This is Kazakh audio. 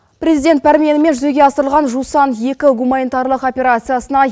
президент пәрменімен жүзеге асырылған жусан екі гуманитарлық операциясына